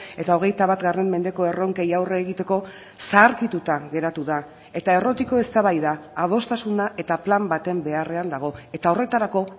eta hogeita bat mendeko erronkei aurre egiteko zaharkituta geratu da eta errotiko eztabaida adostasuna eta plan baten beharrean dago eta horretarako